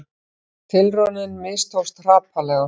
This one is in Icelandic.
Tilraunin mistókst hrapalega